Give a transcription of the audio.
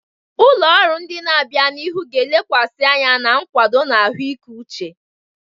Ụlọ ọrụ ndị na-abịa n'ihu ga-elekwasị anya na nkwado na ahụike uche.